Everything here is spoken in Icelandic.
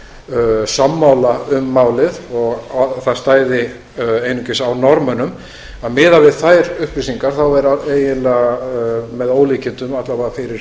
veru sammála um málið og það stæði einungis á norðmönnum miðað við þær upplýsingar er eiginlega með ólíkindum alla vega fyrir